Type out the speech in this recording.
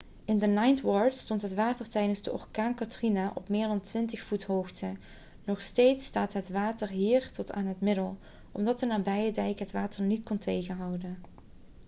in de ninth ward stond het water tijdens de orkaan katrina op meer dan 20 voet hoogte nog steeds staat het water hier tot aan de middel omdat de nabije dijk het water niet kon tegenhouden